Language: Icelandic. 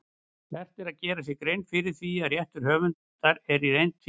Vert er að gera sér grein fyrir því að réttur höfundar er í reynd tvíþættur.